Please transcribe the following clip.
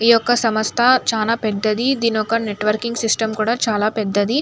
ఈ యొక్క సమస్త చాల పెద్దయి. దీని యొక్క నెట్ వర్క్ సిస్టం కూడా చాలా పెద్దది.